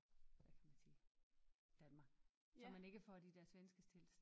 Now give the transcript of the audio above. Hvad kan man sige Danmark så man ikke får de der svenske tilstande